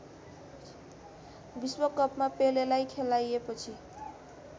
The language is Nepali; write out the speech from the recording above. विश्वकपमा पेलेलाई खेलाइएपछि